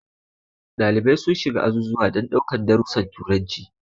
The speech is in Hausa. Dalibai sun shiga azuzuwa don daukan darusan turanci.